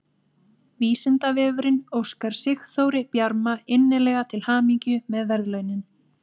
Vísindavefurinn óskar Sigþóri Bjarma innilega til hamingju með verðlaunin!